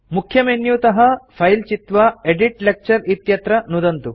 मुख्यमेन्युतः file चित्वा edit lecture इत्यत्र नुदन्तु